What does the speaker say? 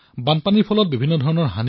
বানপানীৰ ফলত বহু ক্ষতি হৈছে